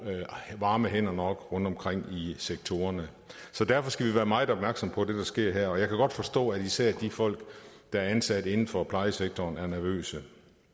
varme hænder nok rundtomkring i sektorerne så derfor skal vi være meget opmærksomme på det der sker her og jeg kan godt forstå at især de folk der er ansat inden for plejesektoren er nervøse